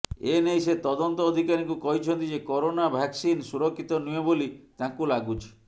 ଏନେଇ ସେ ତଦନ୍ତ ଅଧିକାରୀଙ୍କୁ କହିଛନ୍ତି ଯେ କରୋନା ଭାକସିନ୍ ସୁରକ୍ଷିତ ନୁହେଁ ବୋଲି ତାଙ୍କୁ ଲାଗୁଛି